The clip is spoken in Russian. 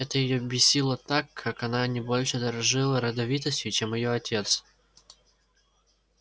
это её бесило так как она не больше дорожила родовитостью чем её отец